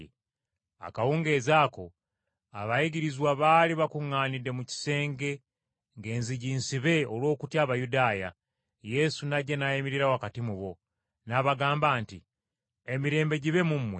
Akawungeezi ako abayigirizwa baali bakuŋŋaanidde mu kisenge ng’enzigi nsibe olw’okutya Abayudaaya, Yesu n’ajja n’ayimirira wakati mu bo. N’abagamba nti, “Emirembe gibe mu mmwe.”